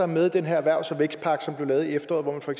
med i den her erhvervs og vækstpakke som blev lavet i efteråret her